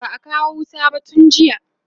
ba'a kawo wuta ba tun jiya